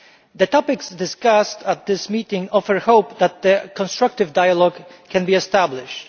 The topics discussed at this meeting offer hope that a constructive dialogue can be established.